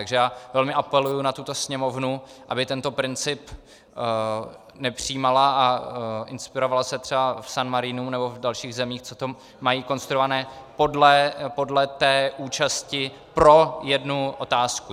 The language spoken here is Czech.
Takže já velmi apeluji na tuto Sněmovnu, aby tento princip nepřijímala a inspirovala se třeba v San Marinu nebo v dalších zemích, co tam mají konstruované, podle té účasti pro jednu otázku.